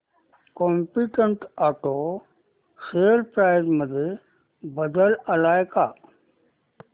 competent auto share price मध्ये बदल आलाय का